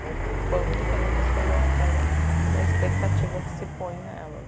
O quão diferentes as coisas são da expectativa que se põe nelas.